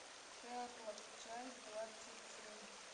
шерлок часть двадцать семь